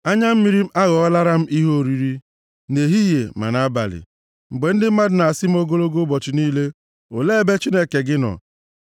Anya mmiri m aghọọlara m ihe oriri nʼehihie ma nʼabalị, mgbe ndị mmadụ na-asị m ogologo ụbọchị niile, “Olee ebe Chineke gị nọ?”